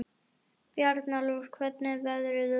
Bjarnólfur, hvernig er veðrið úti?